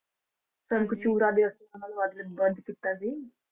ਤਰਕ ਚੂੜਾ ਦੇ ਹੱਥ ਨਾਲ ਵੱਧ ਕੀਤਾ ਸੀ।